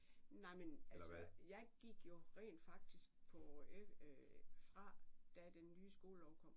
Nej men altså jeg gik jo rent faktisk på fra da den nye skolelov kom